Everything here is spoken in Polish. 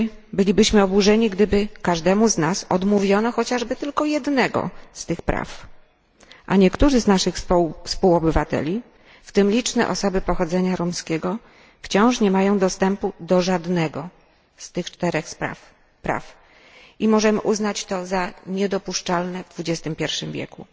Bylibyśmy oburzeni, gdyby każdemu z nas odmówiono chociażby tylko jednego z tych praw, a niektórzy z naszych współobywateli, w tym liczne osoby pochodzenia romskiego, wciąż nie mają dostępu do żadnego z tych czterech praw i możemy uznać to za niedopuszczalne w XXI wieku.